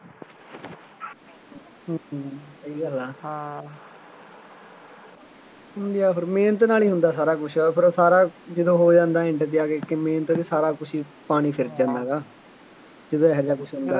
ਹੂੰ ਹੂੰ ਸਹੀ ਗੱਲ ਆ ਹਾਂ ਕੀ ਆ ਫੇਰ ਮਿਹਨਤ ਨਾਲ ਹੀ ਹੁੰਦਾ ਸਾਰਾ ਕੁੱਛ, ਉੱਧਰੋ ਸਾਰਾ ਜਦੋਂ ਹੋ ਜਾਂਦਾ end ਤੇ ਆ ਕੇ ਮਿਹਨਤ ਤੇ ਸਾਰਾ ਕੁੱਛ ਹੀ ਪਾਣੀ ਫਿਰ ਜਾਂਦਾ ਹੈਗਾ, ਜਦੋਂ ਇਹੋ ਜਿਹਾ ਕੁੱਛ ਹੁੰਦਾ